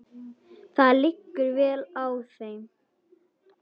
Það liggur vel á þeim.